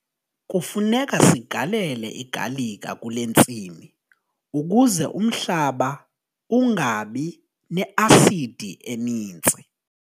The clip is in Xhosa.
Kufuneka sigalele igalika kule ntsimi ukuze umhlaba ungabi ne-asidi eninzi.